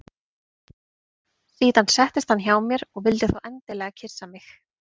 Síðan settist hann hjá mér og þá vildi hann endilega kyssa mig.